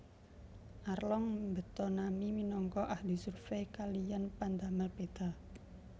Arlong mbeta Nami minangka ahli survey kaliyan pandamel peta